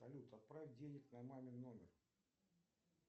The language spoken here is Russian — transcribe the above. салют отправь денег на мамин номер